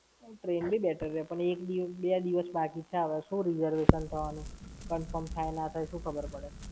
Train બી better રેય. પણ એક દી બે દિવસ બાકી છે, હવે શું reservation થવાનું? Confirm થાય ના થાય શું ખબર પડે?